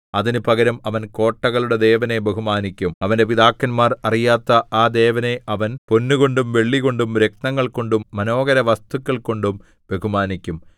അതിന് പകരം അവൻ കോട്ടകളുടെ ദേവനെ ബഹുമാനിക്കും അവന്റെ പിതാക്കന്മാർ അറിയാത്ത ആ ദേവനെ അവൻ പൊന്നുകൊണ്ടും വെള്ളികൊണ്ടും രത്നങ്ങൾകൊണ്ടും മനോഹരവസ്തുക്കൾകൊണ്ടും ബഹുമാനിക്കും